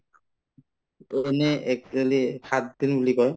to এনে actually সাতদিন বুলি কয়